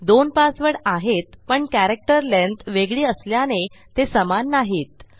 दोन पासवर्ड आहेत पण कॅरेक्टर lengthवेगळी असल्याने ते समान नाहीत